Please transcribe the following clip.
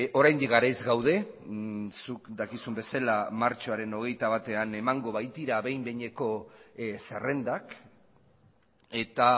oraindik garaiz gaude zuk dakizun bezala martxoaren hogeita batean emango baitira behin behineko zerrendak eta